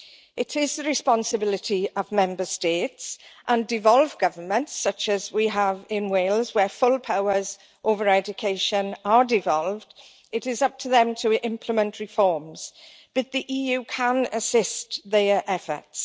It is the responsibility of Member States and devolved governments such as we have in Wales, where full powers over education are devolved to implement reforms, but the EU can assist their efforts.